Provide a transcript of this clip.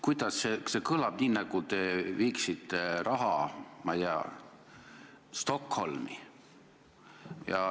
See kõlas nii, nagu te viiksite raha, ma ei tea, Stockholmi.